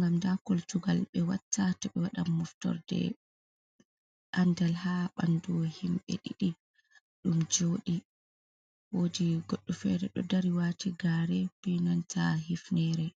gam nda kultugal ɓe watta to ɓe waɗan moftorde andal ha ɓandu himɓe ɗiɗi ɗum joɗi, wodi goɗɗo fere ɗo dari wati gare pinanta hifnere.